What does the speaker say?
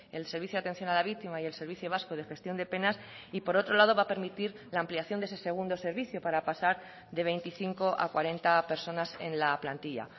el servicio de atención a la víctima y el servicio vasco de gestión de penas y por otro lado va a permitir la ampliación de ese segundo servicio para pasar de veinticinco a cuarenta personas en la plantilla